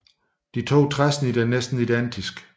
De to træsnit er næsten identiske